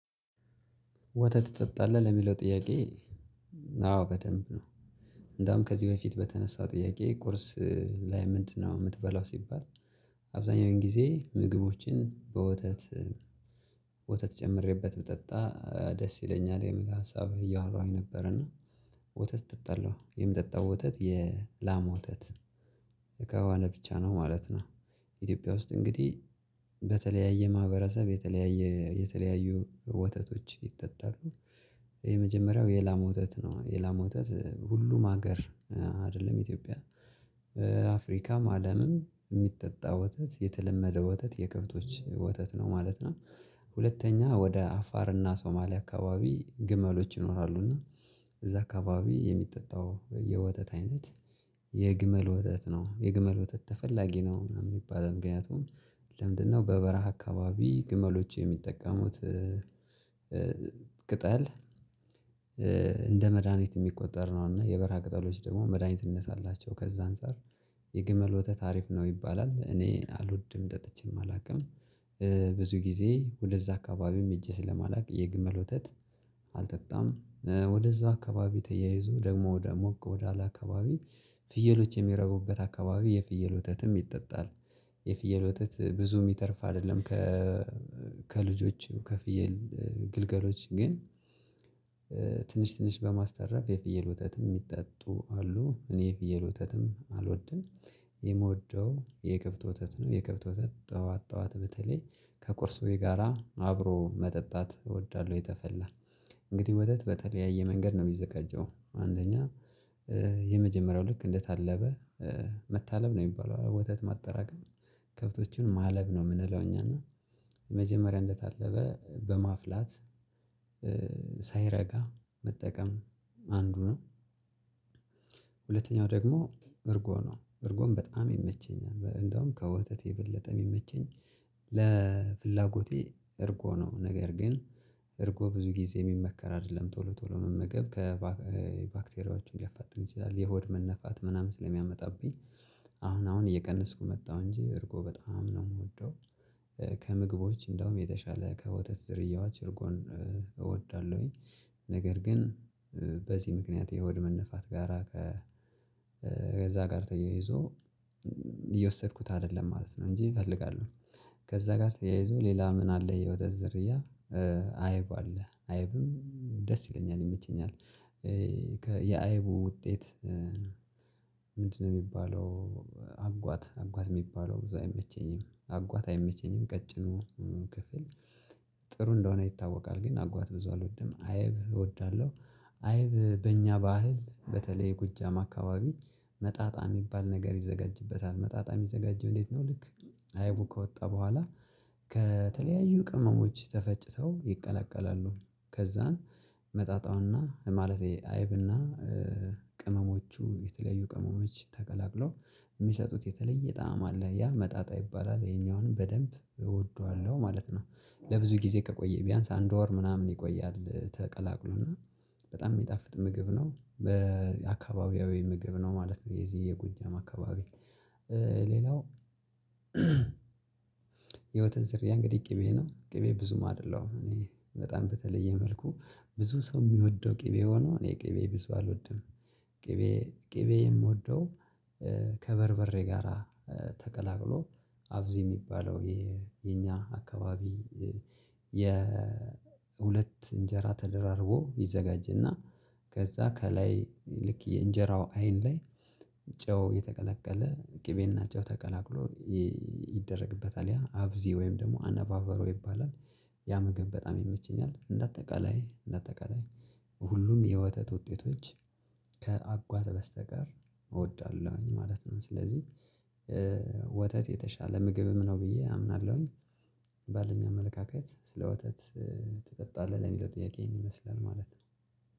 ወተት ትጠጣለህ ለሚለው ጥያቄ አዎ በደንብ ነው እንደውም ከዚህ በፊት በተነሳው ጥያቄ ቁርስ ላይ ምንድነው የምትበላው ሲባል አብዛኛውን ጊዜ ምግቦችን በወተት ወተት ጨምሬበት ብጠጣ ደስ ይለኛል የሚል ሀሳብ እያወራሁኝ ነበር እና ወተት እጠጣለው የምጠጣው ወተት የላም ወተት ከሆነ ብቻ ነው ማለት ነው ኢትዮጵያ ውስጥ እንግዲህ በተለያየ ማህበረሰብ የተለያየ የተለያዩ ወተቶች ይጠጣሉ። የመጀመሪያው የላም ወተት ነው የላም ወተት ሁሉም ሀገር አይደለም ኢትዮጵያ አፍሪካም አለምም የሚጠጣ ወተት የተለመደ ወተት የከብቶች ወተት ነው ማለት ነው ሁለተኛ ወደ አፋርና ሶማሊያ አካባቢ ግመሎች ይኖራሉ እና እዛ አካባቢ የሚጠጣው የወተት አይነት የግመል ወተት ነው። የግመል ወተት ተፈላጊ ነው ምናምን የሚባል ምክንያቱም ለምንድነው በበረሃ አካባቢ ግመሎች የሚጠቀሙት ቅጠል እንደ መድሃኒት የሚቆጠር ነው እና የበራ ቅጠሎች ደግሞ መድሃኒትነት አላቸው ከዛ አንፃር የግመል ወተት አሪፍ ነው ይባላል እኔ አልወድም ጠጥቼም አላውቅም። ብዙ ጊዜ ወደዛ አካባቢም እጄ ስለማላውቅ የግመል ወተት አልጠጣም። ወደዛ አካባቢ ተያይዞ ደግሞ ወደ ሞቅ ወደ አለ አካባቢ ፍየሎች የሚረቡበት አካባቢ የፍየል ወተትም ይጠጣል የፍየል ወተት ብዙ የሚተርፍ አይደለም ከ ከልጆቹ ከፍየል ግልገሎች ግን ትንሽ ትንሽ በማስተረፍ የፍየል ወተትም የሚጠጡ አሉ። እኔ የፍየል ወተትም አልወድም የምወደው የከብት ወተት ነው። የከብት ወተት ጠዋት ጠዋት በተለይ ከቁርስ ወይ ጋራ አብሮ መጠጣት እወዳለሁ የተፈላ። እንግዲህ ወተት በተለያየ መንገድ ነው የሚዘጋጀው። አንደኛ የመጀመሪያው ልክ እንደታለበ መታለብ ነው የሚባለው ወተት ማጠራቀም ከብቶቹን ማለብ ነው የምንለው እኛ እና የመጀመሪያ እንደታለበ በማፍላት ሳይረጋ መጠቀም አንዱ ነው ሁለተኛው ደግሞ እርጎ ነው እርጎም በጣም ይመቸኛል እንደውም ከወተት የበለጠ የሚመቸኝ ለፍላጎቴ እርጎ ነው። ነገር ግን እርጎ ብዙ ጊዜ የሚመከር አይደለም ቶሎ ቶሎ መመገብ ከባ ባክቴሪያዎቹን ሊያፋጥን ይችላል የሆድ መነፋት ምናምን ስለሚያመጣብኝ አሁን አሁን እየቀነስኩ መጣሁ እንጂ እርጎ በጣም ነው የምወደው። ከምግቦች እንደውም የተሻለ ከወተት ዝርያዎች እርጎን እውዳልእሁኝ። ነገር ግን በዚህ ምክንያት የሆድ መነፋት ጋራ ከ ከዛ ጋር ተያይዞ እየወሰድኩት አይደለም ማለት ነው እንጂ እፈልጋለሁ ከዛ ጋር ተያይዞ ሌላ ምን አለ የወተት ዝርያ አይብ አለ አይብም ደስ ይለኛል ይመቸኛል። ከ የአይቡ ውጤት ምንድነው የሚባለው አጓት አጓት የሚባለው ብዙ አይመቸኝም። አጓት አይመቸኝም ቀጭኑ ክፍል ጥሩ እንደሆነ ይታወቃል ግን አጓት ብዙ አልወድም። አይብ እወዳለሁ አይብ በእኛ ባህል በተለይ ጎጃም አካባቢ መጣጣ ሚባል ነገር ይዘጋጅበታል። መጣጣ ሚዘጋጀው እንዴት ነው? ልክ አይቡ ከወጣ በኋላ ከተለያዩ ቅመሞች ተፈጭተው ይቀላቀላሉ ከዛን መጣጣውና ማለቴ አይብና ቅመሞቹ የተለዩ ቅመሞች ተቀላቅለው ሚሰጡት የተለየ ጣዕም አለ። ያ መጣጣ ይባላል። ይሄኛውንም በደንብ እወደዋለሁ ማለት ነው። ለብዙ ጊዜ ከቆየ ቢያንስ አንድ ወር ምናምን ይቆያል ተቀላቅሎና በጣም የሚጣፍጥ ምግብ ነው በአካባቢያዊ ምግብ ነው ማለት ነው የዚህ የጎጃም አካባቢ ሌላው የወተት ዝርያ እንግዲህ ቅቤ ነው ቅቤ ብዙም አይደለሁም እኔ በጣም በተለየ መልኩ ብዙ ሰው ሚወደው ቅቤ ሆኖ እኔ ቅቤ ብዙ አልወድም ቅቤ ቅቤ የምወደው ከበርበሬ ጋራ ተቀላቅሎ አፍዚ ሚባለው የኛ አካባቢ የሁለት እንጀራ ተደራርቦ ይዘጋጅና ከዛ ከላይ ልክ የእንጀራው አይን ላይ ጨው የተቀላቀለ ቅቤና ጨው ተቀላቅሎ ይደረግበታል ያ አብዚ ወይም ደግሞ አነባበሮ ይባላል ያ ምግብ በጣም ይመቸኛል እንደ አጠቃላይ እንደ አጠቃላይ ሁሉም የወተት ውጤቶች ከአጓት በስተቀር እወዳለሁኝ ማለት ነው ስለዚህ ወተት የተሻለ ምግብም ነው ብዬ አምናለሁኝ ባለኝ አመለካከት ስለ ወተት ትጠጣለህ ለሚለው ጥያቄ ይሄን ይመስላል ማለት ነው።